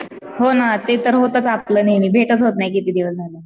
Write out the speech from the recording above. हो ना ते तर होताच आपलं नेहमी भेटचं होत नाही किती दिवस झाले.